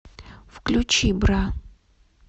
включи бра